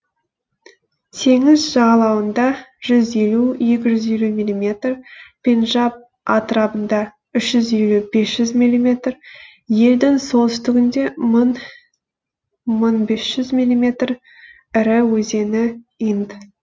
теңіз жағалауында жүз елу екі жүз елу миллиметр пенджаб атырабында үш жүз елу бес жүз миллиметр елдің солтүстігінде мың мың бес жүз миллиметр ірі өзені инд